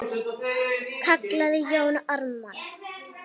kallaði Jón Ármann.